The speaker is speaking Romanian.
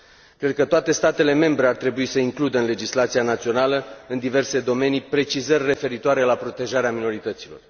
Cred că toate statele membre ar trebui să includă în legislația națională, în diverse domenii, precizări referitoare la protejarea minorităților.